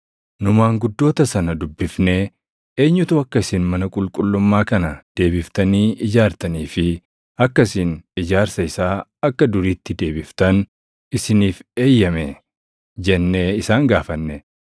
Nu maanguddoota sana dubbifnee, “Eenyutu akka isin mana qulqullummaa kana deebiftanii ijaartanii fi akka isin ijaarsa isaa akka duriitti deebiftan isiniif eeyyame?” jennee isaan gaafanne.